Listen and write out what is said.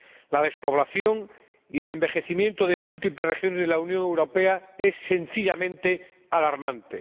La despoblación y el envejecimiento de múltiples regiones de la Unión Europea es sencillamente alarmante.